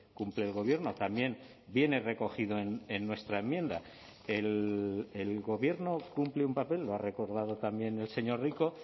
cumple el gobierno también viene recogido en nuestra enmienda el gobierno cumple un papel lo ha recordado también el señor rico